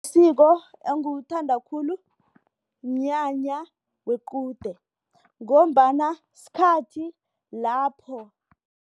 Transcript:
Isiko engilithanda khulu mnyanya wequde ngombana sikhathi lapho.